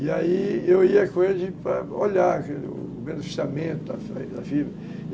E aí eu ia com eles para olhar o beneficiamento da firma.